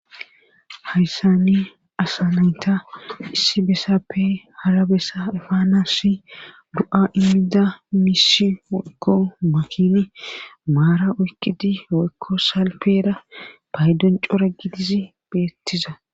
hayssani asanayta issi bessappe harabessa efaanassi du7a immida misi okko makin maara oykkidi woykko salpera paydon cora gidizi beettiza